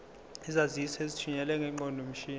izaziso ezithunyelwe ngeqondomshini